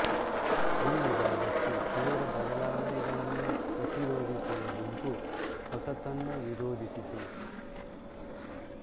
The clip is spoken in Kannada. ಈ ವಿವಾದಕ್ಕೆ ತೀವ್ರ ಬದಲಾವಣೆಗಳನ್ನು ಪ್ರತಿರೋಧಿಸುವ ಗುಂಪು ಹೊಸತನ್ನು ವಿರೋಧಿಸಿತು